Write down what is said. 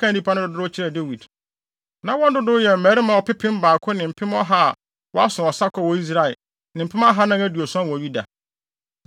bɛkaa nnipa no dodow kyerɛɛ Dawid. Na wɔn dodow yɛ mmarima ɔpepem baako ne mpem ɔha a wɔaso ɔsakɔ wɔ Israel ne mpem ahannan aduɔson wɔ Yuda.